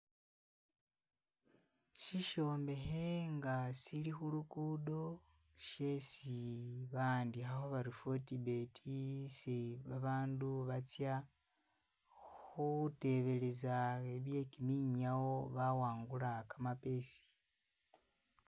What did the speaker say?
Sishombekhe nga shili khulugudo shesi ba'andikhakho bari "FortBet" isi babandu batsa khutebeleza bye'kiminyawo bawangula kamapesa